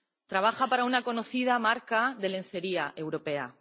Trabaja para una conocida marca de lencería europea.